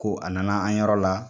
Ko a nana an yɔrɔ la